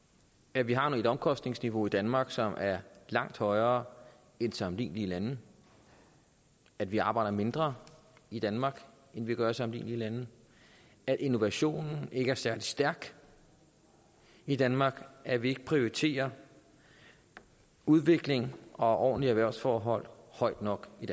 at vi har et omkostningsniveau i danmark som er langt højere end i sammenlignelige lande at vi arbejder mindre i danmark end de gør i sammenlignelige lande at innovationen ikke er særlig stærk i danmark at vi ikke prioriterer udvikling og ordentlige erhvervsforhold højt nok i